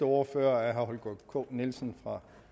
ordfører er herre holger k nielsen for